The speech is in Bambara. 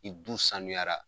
I du sanuyara.